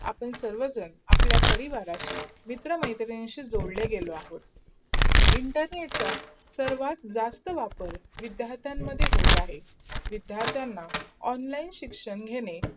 आपण सर्व जन अप्लाय परिवारांशै, आपला मित्र मैत्रींची जोडले गेलो आहोत. internet चा सर्वा जास्त वापर विधानटहार्ट मध्ये होतोहे. विधानथार्थियांना online शिक्षण घेणे